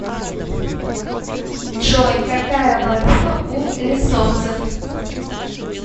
джой какая валюта у лесотцев